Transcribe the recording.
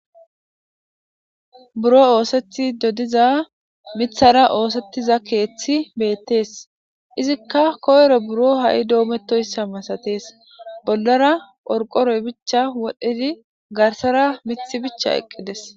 Buro oosethi dodiza mithara oosettiza keeththi beettees izikka koyro buro ha'i doometoyssa masatees bollara orqoroy bicha wodhdhidi garsara mithi bicha eqqides